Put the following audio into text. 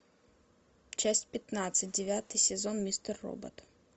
часть пятнадцать девятый сезон мистер робот